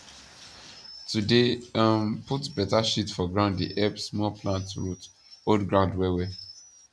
to dey um put beta shit for ground dey help small plant root hold ground well well